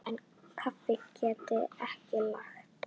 En kaffi get ég lagað.